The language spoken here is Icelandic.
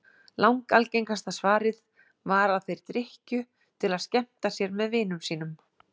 Langalgengasta svarið var að þeir drykkju til að skemmta sér með vinum sínum.